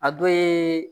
A dɔ ye